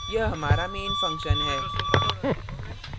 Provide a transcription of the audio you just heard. यह हमारा main function है